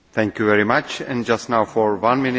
Én is gratulálok a kitűnő jelentéshez.